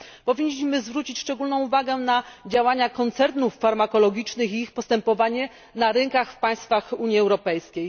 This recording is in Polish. Powinniśmy zwrócić szczególną uwagę na działania koncernów farmakologicznych i ich postępowanie na rynkach w państwach Unii Europejskiej.